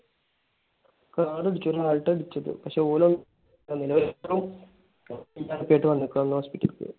car ഇടിച്ചു. Alto ആണ് ഇടിച്ചത്. പക്ഷെ ഓന് ഒന്നും വന്നേക്കണ് hospital ലിൽ പോയി.